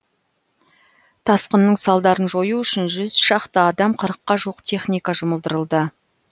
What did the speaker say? тасқынның салдарын жою үшін жүз шақты адам қырыққа жуық техника жұмылдырылды